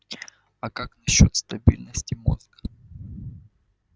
а как насчёт стабильности мозга